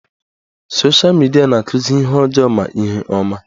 Sosha midia na-akụzi ihe ọjọọ ma ihe ọma